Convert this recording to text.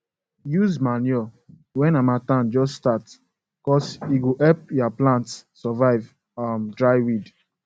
use manure when harmattan just startcuz e go help ya plants survive um dry wind